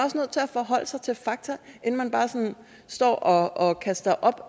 forholde sig til fakta inden man bare står og og kaster op